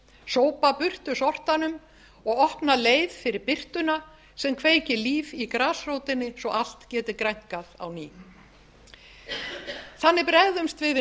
sópa burtu sortanum og opna leið fyrir birtuna sem kveikir líf í grasrótinni svo allt geti grænkað á ný þannig bregðumst við við